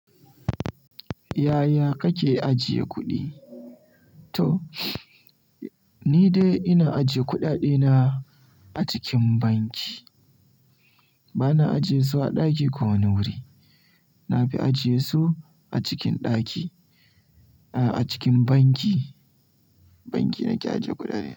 Yaya kake ajiye kuɗi? To ni dai ina ajiye kuɗaɗe na a cikin banki. Bana ajiye su a ɗaki ko wani wuri. Na fi ajiye su a cikin ɗaki, a cikin banki, banki nake aje kuɗaɗe.